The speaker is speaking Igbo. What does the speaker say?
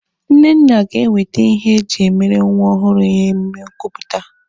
Nnenna ga-ewete ihe eji emere nwa ọhụrụ ya emume nkupụta.